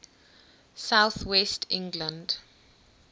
south west england